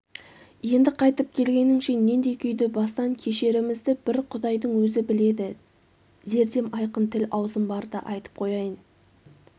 енді қайтып келгеніңше нендей күйді бастан кешерімізді бір құдайдың өзі біледі зердем айқын тіл-аузым барда айтып қояйын